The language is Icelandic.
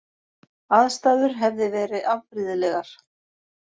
Aðstæður hefði verið afbrigðilegar